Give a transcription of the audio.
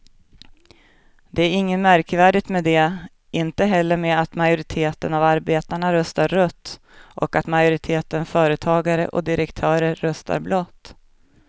Det är inget märkvärdigt med det, inte heller med att majoriteten av arbetarna röstar rött och att majoriteten företagare och direktörer röstar blått.